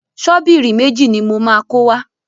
Ṣọ́bìrì méjì ni mo máa kó wá.